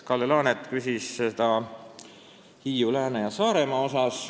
Kalle Laanet küsis seda Hiiu-, Lääne- ja Saaremaa kohta.